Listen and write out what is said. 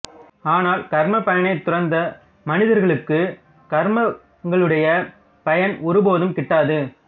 ஆனால் கர்மபயனைத் துறந்த மனிதர்களுக்குக் கர்மங்களுடைய பயன் ஒருபோதும் கிட்டாது